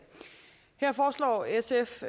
her foreslår sf